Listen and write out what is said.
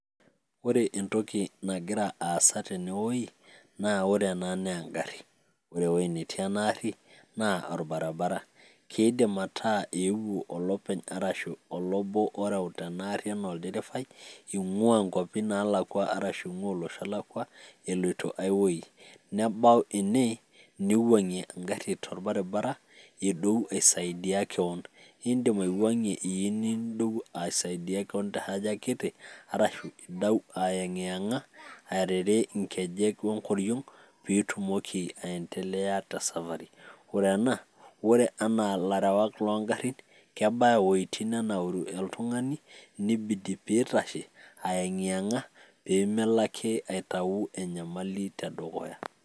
ore entoki nagira aasa tene wueji, na ore ena naa egari, ore ewueji natii ena gari naa olabribabara. keidim aaku eewuo olopeny arashu olobo oreuta enaari anaa olderefai, eing'uaa inkuapi naalakua, arashu inguaa olosho olakua, eloito aiwueji ,nebau ene neiwuangie engari tolbaribara edou aisaidia kewon. idim aiwuangie iyieu nidou aisaidia kewon te haja kiti arashu idou atyangiyanga arashu arere enkoriong. ore ilarewak loo garin kebaya uiwuejitin neitashe oltungani ayeng'iyeng'a pee melo akie aitayu enyamali tedukuya.